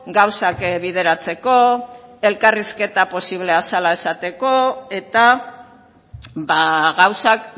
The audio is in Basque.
gauzak bideratzeko elkarrizketa posiblea zela esateko eta ba gauzak